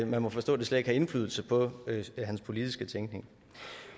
man må forstå at det slet ikke har indflydelse på hans politiske tænkning